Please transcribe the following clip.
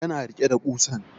Ya na rike da ƙusan